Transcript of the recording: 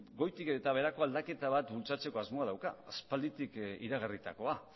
goitik eta beherako aldaketa bat bultzatzeko asmoa dauka aspalditik iragarritakoa